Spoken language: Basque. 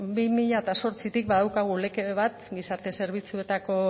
bi mila zortzitik badaukagu lege bat gizarte zerbitzuetako